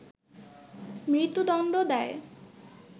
মৃত্যুদণ্ড দেয়